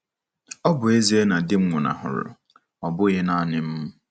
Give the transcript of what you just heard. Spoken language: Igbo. Ọ bụ ezie na di m nwụnahụrụ, ọ bụghị nanị m.